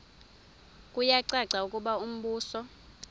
kuyacaca ukuba umbuso